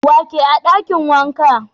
Wa ke a dakin wankan?